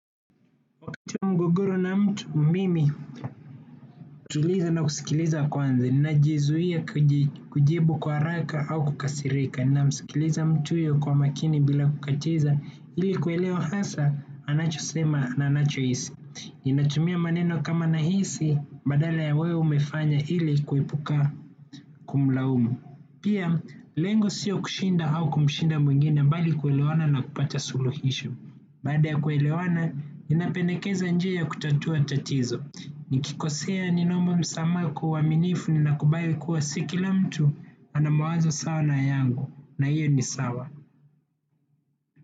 Mgogoro na mtu mimi hutuliza na kusikiliza kwanza, ninajizuia kujibu kwa haraka au kukasirika, ninamsikiliza mtu huyo kwa maakini bila kukatiza, ili kuelewa hasa, anachosema, anachohisi. Ninatumia maneno kama nahisi, badala ya wewe umefanya ili kuepuka kumlaumu. Pia, lengo sio kushinda au kumshinda mwingine, bali kwelewana na kupata suluhisho. Baada ya kuelewana, ninapendekeza njia ya kutatua tatizo. Nikikosea, ninaomba msama kwa uaminifu, ninakubali kua sio kila mtu ana mawazo sawa na yangu, na hiyo ni sawa.